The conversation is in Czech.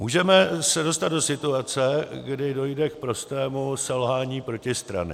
Můžeme se dostat do situace, kdy dojde k prostému selhání protistrany.